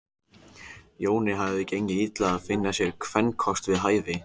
Jóni hafði gengið illa að finna sér kvenkost við hæfi.